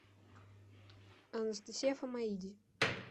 анастасия фамаиди